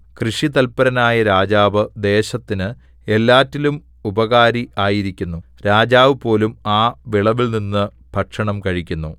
കൃഷിതൽപരനായ രാജാവ് ദേശത്തിന് എല്ലാറ്റിലും ഉപകാരി ആയിരിക്കുന്നു രാജാവുപോലും ആ വിളവിൽനിന്ന് ഭക്ഷണം കഴിക്കുന്നു